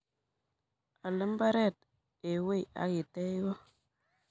Al mbaret eng wei akitech kot.